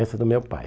Essa é do meu pai.